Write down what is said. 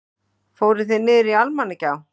Fóruð þið niður Almannagjá?